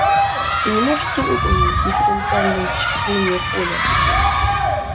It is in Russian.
вы не можете выполнить дифференциальное исчисление поля